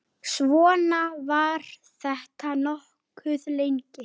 Svona var þetta nokkuð lengi.